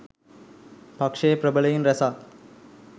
පක්ෂයේ ප්‍රබලයින් රැසක්